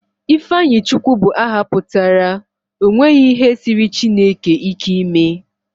Ifeanyichukwu bụ aha pụtara 'o nweghi ihe siiri Chineke ike ime'